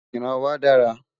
ìran wà dára